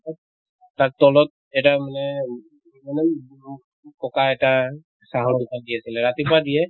তলত তাত তলত এটা মানে ককা এটা চাহৰ দোকান দি আছিলে ৰাতিপুৱা দিয়ে